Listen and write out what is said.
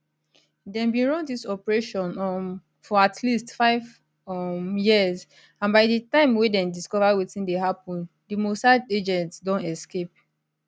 dem bin run dis operation um for at least five um years and by di time wey dem discover wetin dey happun di mossad agents don escape